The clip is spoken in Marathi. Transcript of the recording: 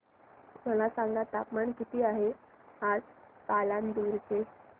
मला सांगा तापमान किती आहे आज पालांदूर चे